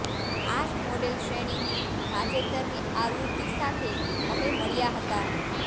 આ મોડેલ શ્રેણી ની તાજેતરની આવૃત્તિ સાથે અમે મળ્યા હતા